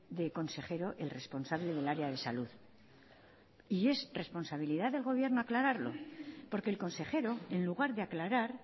del consejero el responsable del área de salud y es responsabilidad del gobierno aclararlo porque el consejero en lugar de aclarar